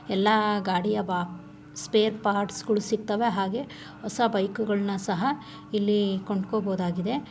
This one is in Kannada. ಎಲ್ಲಾ ಗಾಡಿಯ ಬ ಸ್ಪೇರ್ ಪಾರ್ಟ್ಸ್ ಗಳು ಸಿಕ್ತವೆ ಹಾಗೆ ಹೊಸ ಬೈಕ್ ಗಳನ್ನು ಸಹ ಇಲ್ಲಿಕೊಂಡುಕೋ ಬಹುದುದಾಗಿದೆ.